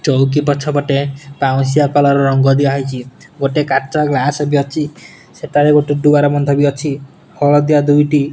ଚୌକି ପଛ ପଟେ ପାଉଁଶିଆ କୋଲର୍ ରଙ୍ଗ ଦିଆ ଗୋଟେ କାଚ ଗ୍ଲାସ ବି ଅଛି ସେ ତଳେ ଦୁଆର ବନ୍ଦ ବି ଅଛି ହଳଦିଆ ଦୁଇଟି --